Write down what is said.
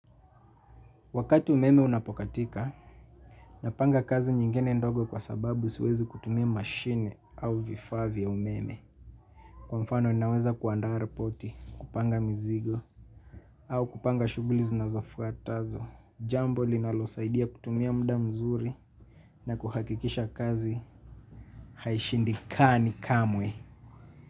Wakati umeme unapokatika, napanga kazi nyingine ndogo kwa sababu siwezi kutumia mashine au vifaa vya umeme. Kwa mfano ninaweza kuandaa ripoti, kupanga mizigo, au kupanga shughuli zinazofuatazo. Jambo linalosaidia kutumia muda mzuri na kuhakikisha kazi haishindikani kamwe.